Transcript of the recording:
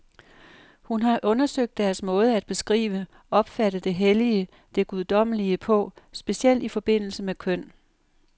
Hun har undersøgt deres måde at beskrive, opfatte det hellige, det guddommelige på, specielt i forbindelse med køn.